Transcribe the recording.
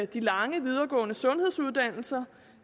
de lange videregående sundhedsuddannelser